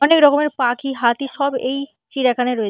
অনেক রকমের পাখি হাতি সব এই চিড়িয়াখানায় রয়ে--